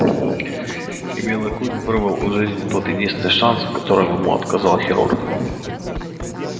и белый клык вырвал у жизни тот единственный шанс в котором ему отказал хирург